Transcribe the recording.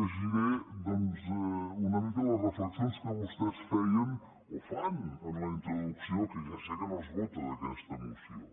llegiré doncs una mica les reflexions que vostès feien o fan en la introducció que ja sé que no es vota d’aquesta moció